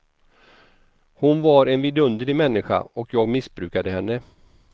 Hon var en vidunderlig människa, och jag missbrukade henne.